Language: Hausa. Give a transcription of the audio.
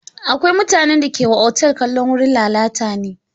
Akwai mutanen da ke wa otal kallon wurin lalata ne.